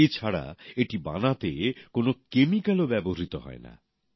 এছাড়া এটি বানাতে কোন কেমিক্যালও ব্যবহৃত হয় না